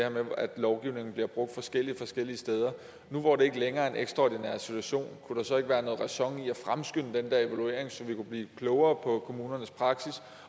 om at loven bliver brugt forskelligt de forskellige steder nu hvor der ikke længere er en ekstraordinær situation kunne der så ikke være noget ræson i at fremskynde den der evaluering så vi kunne blive klogere på kommunernes praksis